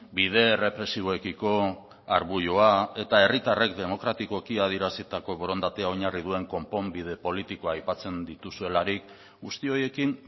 bide errepresiboekiko arbuioa eta herritarrek demokratikoki adierazitako borondatea oinarri duen konponbide politikoa aipatzen dituzuelarik guzti horiekin